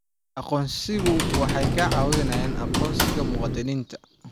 Aqoonsiyadu waxay caawiyaan aqoonsiga muwaadiniinta.